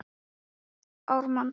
Hver er fyrirliði Íslands?